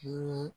Hi